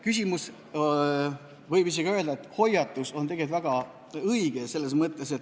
Küsimus, võib isegi öelda, et hoiatus, on tegelikult väga õige.